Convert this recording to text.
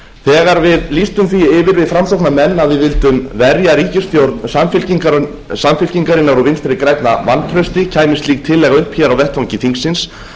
þegar við framsóknarmenn lýstum því yfir að við vildum verja ríkisstjórn samfylkingarinnar og vinstri grænna vantrausti kæmi slík tillaga upp hér á vettvangi þingsins lögðum